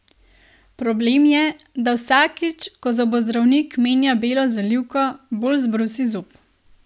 Problem je, da vsakič, ko zobozdravnik menja belo zalivko, bolj zbrusi zob.